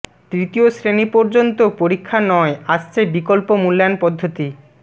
তৃতীয় শ্রেণি পর্যন্ত পরীক্ষা নয় আসছে বিকল্প মূল্যায়ন পদ্ধতি